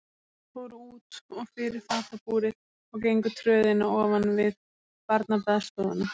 Þeir fóru út og fyrir fatabúrið og gengu tröðina ofan við barnabaðstofuna.